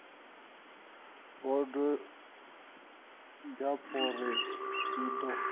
bodo ya parole i ḓo